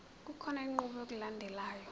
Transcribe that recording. kukhona inqubo yokulandelayo